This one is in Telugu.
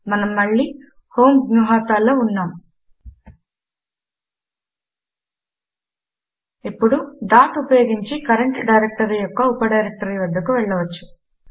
మనము మళ్ళి homegnuhata లో ఉన్నాము ఇప్పుడు డాట్ ఉపయోగించి కరంట్ డైరెక్టరీ యొక్క ఉప డైరెక్టరీ వద్దకు వెళ్ళవచ్చు